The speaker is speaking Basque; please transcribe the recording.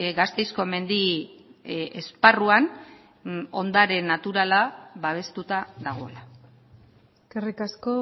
gasteizko mendi esparruan ondare naturala babestuta dagoela eskerrik asko